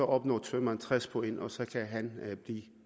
opnår tømreren tres point og så kan han